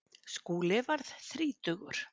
Skúli varð þrítugur.